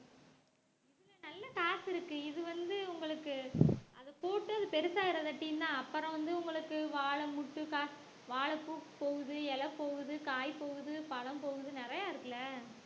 இதுல நல்ல காசு இருக்கு இது வந்து உங்களுக்கு அது போட்டு அது பெருசாயிராதாட்டின்னா அப்புறம் வந்து உங்களுக்கு வாழை முட்டு கா~ வாழைப்பூ போகுது இலை போகுது காய் போகுது பழம் போகுது நிறையா இருக்குல்ல